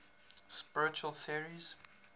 spiritual theories